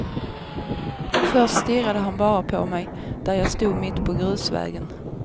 Först stirrade han bara på mig, där jag stod mitt på grusvägen.